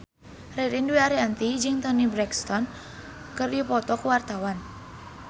Ririn Dwi Ariyanti jeung Toni Brexton keur dipoto ku wartawan